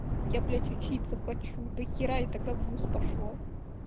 я блядь учиться хочу до хера я тогда в вуз пошла